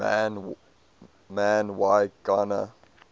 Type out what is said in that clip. man y gana